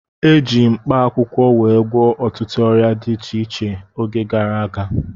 E jigo mkpaakwụkwọ were gwọọ ọtụtụ ọrịa dị iche iche oge gara aga